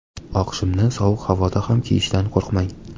Oq shimni sovuq havoda ham kiyishdan qo‘rqmang.